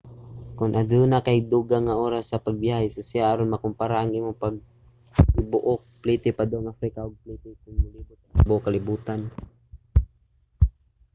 kon aduna kay dugang nga oras sa pagbiyahe susiha aron makompara ang imong tibuok plite padung africa og ang plite kon molibot sa tibuok kalibotan